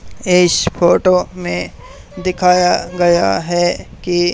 इस फोटो में दिखाया गया है कि--